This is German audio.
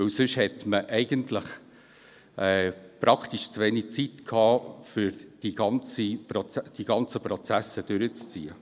Sonst hat man eigentlich zu wenig Zeit gehabt, um die ganzen Prozesse durchzuziehen.